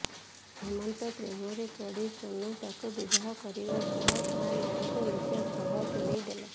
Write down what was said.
ହେମନ୍ତ ପ୍ରେମରେ ପଡି ସୋନୁ ତାକୁ ବିବାହ କରିବା ସହ ତା ନାଁକୁ ନିଜ ସହ ଯୋଡିଥିଲା